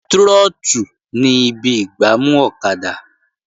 Trọ́tù ni ibi ìgbámú ọ̀kadà